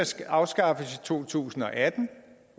skal afskaffes i to tusind og atten